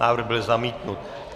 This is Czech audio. Návrh byl zamítnut.